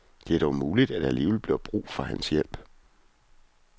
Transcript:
Det er dog muligt, at der alligevel bliver brug for hans hjælp.